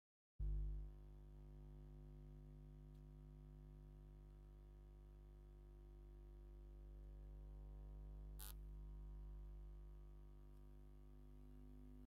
ካብ ዓይነታት ምግቢ ጥብሲ፣ ቅቅልን ጥረ ስጋን ብእንጀራ ቀሪቡ ኣሎ ። ንስካትኩም ካብቶም ተዘሪዚሮም ዘለዎ ዓይነታት ምግቢ እንታይ ትፈትዉ ?